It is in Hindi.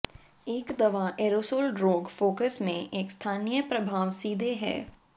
एक दवा एरोसोल रोग फोकस में एक स्थानीय प्रभाव सीधे है